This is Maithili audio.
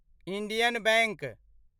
Indian bank